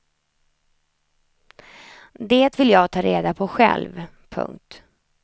Det vill jag ta reda på själv. punkt